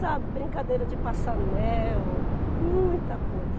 Sabe, brincadeira de passa anel, muita coisa.